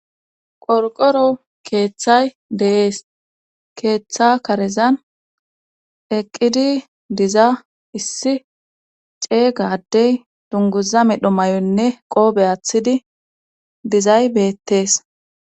qorqoro keeththay de'es keeththa karezan eqqidi diza issi ceey gadey dunguza midho may7onne qoobe aathidi dizay beettees